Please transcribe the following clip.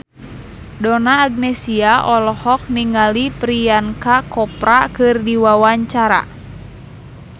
Donna Agnesia olohok ningali Priyanka Chopra keur diwawancara